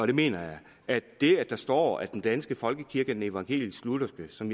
det mener jeg at det at der står at den danske folkekirke er den evangelisk lutherske som